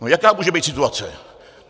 No jaká může být situace?